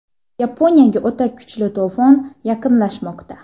Yaponiyaga o‘ta kuchli to‘fon yaqinlashmoqda.